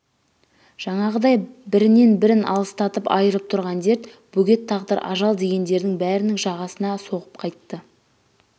жаңағыдай бірінен-бірің алыстатып айырып тұрған дерт бөгет тағдыр ажал дегендердің бәрінің жағасына соғып қайтты